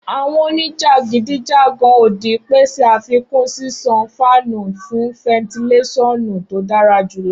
Awọn onijakidijagan odi pese afikun ṣiṣan fáànù fun fentilesonu to dara julọ.